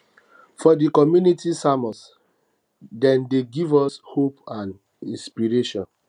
for di community sermons dem dey give us hope hope and inspiration